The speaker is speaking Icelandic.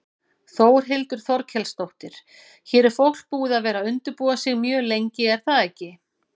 Þórhildur Þorkelsdóttir: Hér er fólk búið að vera undirbúa sig mjög lengi er það ekki?